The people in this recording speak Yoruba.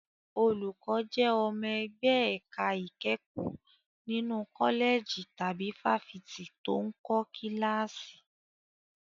Olùkọ́ jẹ́ ọmọ ẹgbẹ́ ẹ̀ka ìkẹ́kọ̀ọ́ nínú kọ́lẹ̀jì tàbí fáfitì tó ń kọ́ kíláàsì.